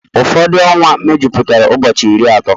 Ụfọdụ ọnwa mejupụtara ụbọchị iri atọ